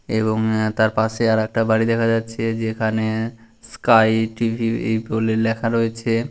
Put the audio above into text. এবং আ তার পাশে আর একটা বাড়ি দেখা যাচ্ছে। যেখানে স্কাই টি.ভি. এই বলে লেখা রয়েছে।